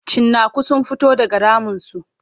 Cinnaku sun fito daga raminsu.